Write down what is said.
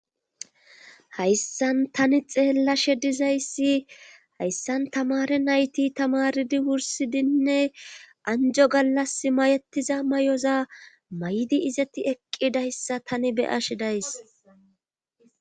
hayssan tani xeellashe dizayssi hayssan tamare nayti tamaridi wursidinne anjo gallas mayetiza may7oza may7di izeti eqqidayssa tani beyashe days